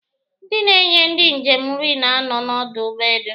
Ndị na-enye ndị njem nri na-anọ n'ọdụ ụgbọelu